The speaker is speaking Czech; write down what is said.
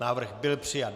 Návrh byl přijat.